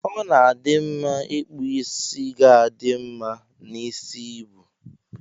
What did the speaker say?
Ọna adi mma ipkụ isi ga adi mma na isi ibu.